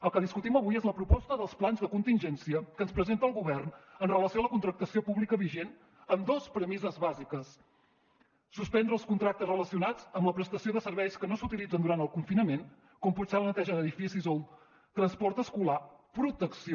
el que discutim avui és la proposta dels plans de contingència que ens presenta el govern amb relació a la contractació pública vigent amb dos premisses bàsiques suspendre els contractes relacionats amb la prestació de serveis que no s’utilitzen durant el confinament com pot ser la neteja d’edificis o el transport escolar protecció